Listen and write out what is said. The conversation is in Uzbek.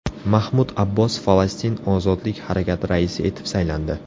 Mahmud Abbos Falastin ozodlik harakati raisi etib saylandi.